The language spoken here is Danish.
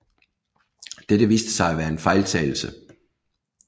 Dette viste sig at være en fejltagelse